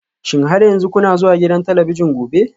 Shin har yanzu kuna zuwa gidan talabijin gobe?